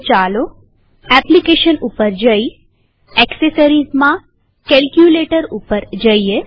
તો ચાલો એપ્લીકેશન પર જઈ એક્સેસરીઝ gtકેલ્કયુલેટર પર જઈએ